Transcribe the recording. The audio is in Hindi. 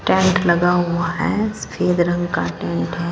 टैंक लगा हुआ हैं सफेद रंग का गेट हैं।